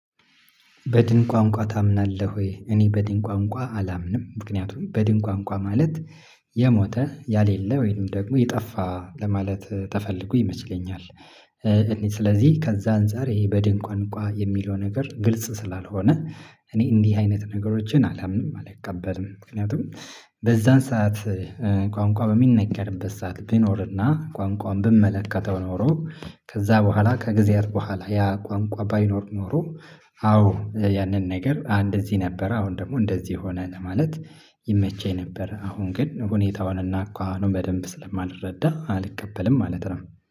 በድን ቋንቋ ታምናለህ ወይ? እኔ በድን ቋንቋ አላምንም ምክንያቱም በድን ቋንቋ ማለት የሞተ ያሌለ ወይንም ደግሞ የጠፋ ለማለት ተፈልጎ ይመችለኛል። እኔ ስለዚህ ከዛ አንፃር ይሄ በድን ቋንቋ የሚለው ነገር ግልጽ ስላልሆነ እኔ እንዲህ አይነት ነገሮችን አላምንም አልቀበልም ምክንያቱም። በዛን ሰዓት ቋንቋ በሚነገርበት ሰዓት ቢኖርና ቋንቋውን ብመለከተው ኖሮ ከዛ በኋላ ከጊዜያት በኋላ ያ ቋንቋ ባይኖር ኖሮ። አዎ ያንን ነገር እንደዚህ ነበር አሁን ደግሞ እንደዚህ ሆነ ለማለት ይመቸኝ ነበር። አሁን ግን ሁኔታውንና አኳኋኑን በደንብ ስለማልረዳ አልቀበልም ማለት ነው።